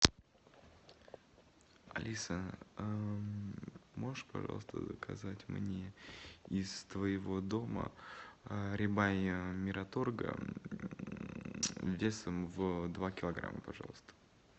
алиса можешь пожалуйста заказать мне из твоего дома рибай мираторга весом в два килограмма пожалуйста